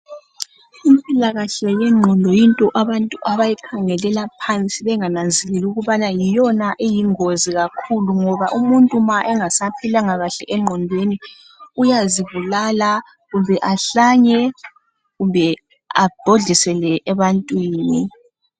Impilakahle yengqondo yinto abantu abayikhangelela phansi bengananzeleli ukubana yiyona eyingozi kakhulu ngoba umuntu ma engasphilanga kahle engqondweni uyazibulala kumbe ahlanye kumbe abhodlisele ebantwini.